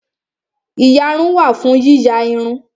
Ìyarun wà fún yíya irun